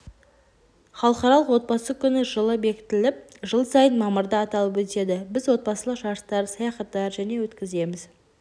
халықаралық отбасы күні жылы бекітіліп жыл сайын мамырда аталып өтеді біз отбасылық жарыстар саяхаттар және өткіземіз